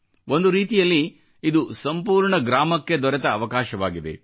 ಒಂದು ರೀತಿಯಲ್ಲಿ ಇದು ಸಂಪೂರ್ಣ ಗ್ರಾಮಕ್ಕೆ ದೊರೆತ ಅವಕಾಶವಾಗಿದೆ